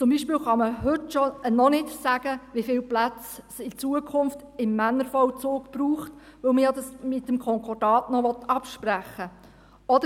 Zum Beispiel kann man heute noch nicht sagen, wie viele Plätze es in Zukunft im Männervollzug braucht, weil man dies ja noch mit dem Konkordat absprechen will.